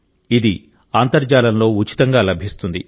ఇది అంతర్జాలంలో ఉచితంగా లభిస్తుంది